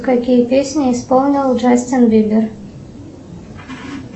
какие песни исполнил джастин бибер